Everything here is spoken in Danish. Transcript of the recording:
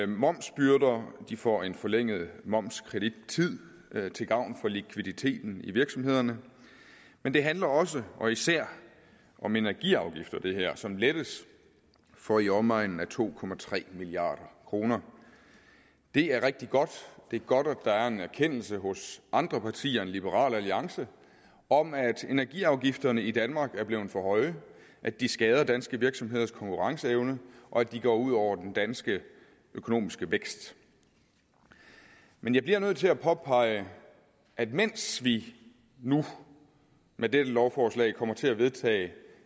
momsbyrder de får en forlænget momskredittid til gavn for likviditeten i virksomhederne men det handler også og især om energiafgifter som lettes for i omegnen af to milliard kroner det er rigtigt godt det er godt at der er en erkendelse hos andre partier end liberal alliance om at energiafgifterne i danmark er blevet for høje at de skader danske virksomheders konkurrenceevne og at de går ud over den danske økonomiske vækst men jeg bliver nødt til at påpege at mens vi nu med dette lovforslag kommer til at vedtage